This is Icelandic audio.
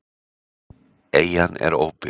Eyjan er óbyggð.